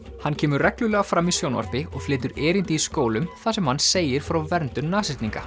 hann kemur reglulega fram í sjónvarpi og flytur erindi í skólum þar sem hann segir frá verndun